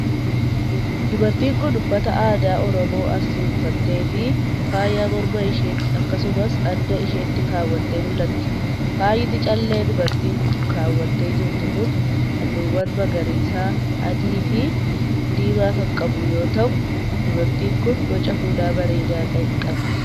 Dubartiin kun, uffata aadaa Oromoo Arsii uffattee fi faayaa morma isheetti akkasumas adda isheetti kaawwattee mul'atti. Faayni callee dubartiin kun kaawwattee jirtu kun haalluuwwan magariisa, adii fi diimaa kan qabu yoo ta'u, dubartiin kun boca fuulaa bareedaa ta'e qabdi.